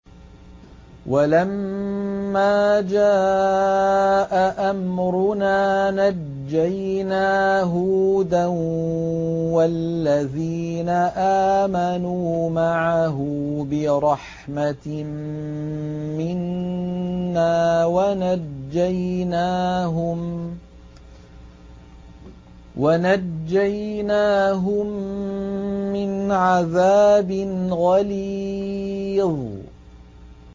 وَلَمَّا جَاءَ أَمْرُنَا نَجَّيْنَا هُودًا وَالَّذِينَ آمَنُوا مَعَهُ بِرَحْمَةٍ مِّنَّا وَنَجَّيْنَاهُم مِّنْ عَذَابٍ غَلِيظٍ